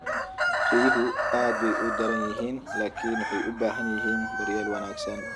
Riyuhu aad bay u daran yihiin laakiin waxay u baahan yihiin daryeel wanaagsan.